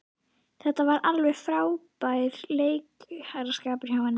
Þetta var alveg frábær leikaraskapur hjá henni.